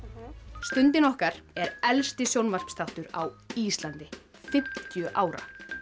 stundin okkar er elsti sjónvarpsþáttur á Íslandi fimmtíu ára